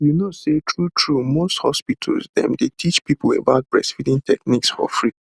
you know say true true most hospital dem dey teach people about breastfeeding techniques for free